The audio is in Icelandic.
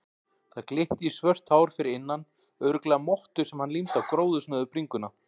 Það glitti í svört hár fyrir innan, örugglega mottu sem hann límdi á gróðursnauða bringuna.